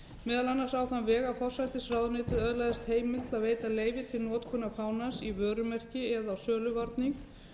meðal annars á þann veg að forsætisráðuneytið öðlaðist heimild til að veita leyfi til notkunar fánans í vörumerki eða á söluvarning